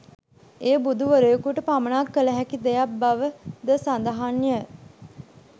එය බුදු වරයකුට පමණක් කළ හැකි දෙයක් බව ද සඳහන්ය